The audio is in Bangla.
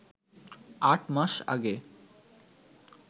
আট মাস আগে